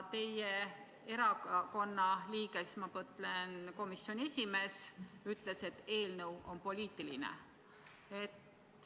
Teie erakonna liige, komisjoni esimees, ütles, et eelnõu on poliitiline.